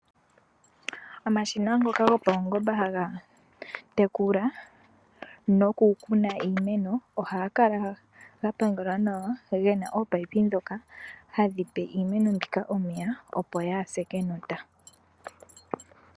Omashina ngoka gopawungomba ngoka hagatekula nokukuna iimeno ohagakala gapangelwa nawa gena ominino dhoka hadhipe iimeno mbika omeya opo yaase kenota.